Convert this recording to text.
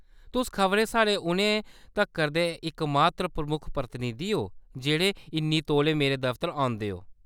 तुस खबरै साढ़े हुनै तक्कर दे इकमात्र प्रमुख प्रतिनिधी ओ, जेह्‌‌ड़े इन्नी तौले मेरे दफ्तर औंदे ओ।